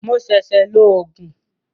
Mo ṣẹ̀ṣẹ̀ lo Ògùn